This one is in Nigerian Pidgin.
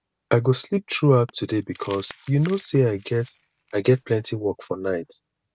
i go sleep through out today because you no say i get i get plenty work for night